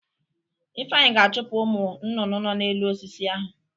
Ifeanyị ga-achụpụ ụmụ nnụnụ nọ n'elu osisi ahụ.